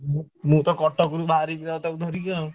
ମୁଁ ମୁଁ ତ କଟକରୁ ବାହାରିକି ତାକୁ ଧରିବି ଆଉ।